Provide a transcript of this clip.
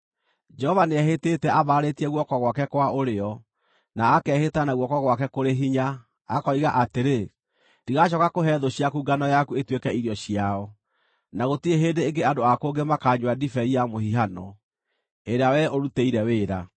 Jehova nĩehĩtĩte ambararĩtie guoko gwake kwa ũrĩo, na akehĩta na guoko gwake kũrĩ hinya, akoiga atĩrĩ: “Ndigacooka kũhe thũ ciaku ngano yaku ĩtuĩke irio ciao, na gũtirĩ hĩndĩ ĩngĩ andũ a kũngĩ makaanyua ndibei ya mũhihano ĩrĩa wee ũrutĩire wĩra;